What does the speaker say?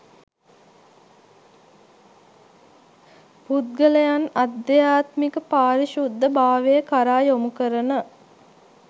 පුද්ගලයන් අධ්‍යාත්මික පාරිශුද්ධ භාවය කරා යොමුකරන